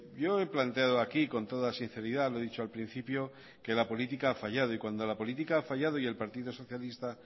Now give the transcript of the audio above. yo he planteado aquí con toda sinceridad lo he dicho al principio que la política ha fallado y cuando la política ha fallado y el partido socialista